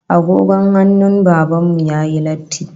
Agogon hannun Baban mu yayi latti